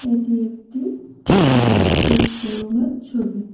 এটি একটি বাইকের শোরুমের ছবি।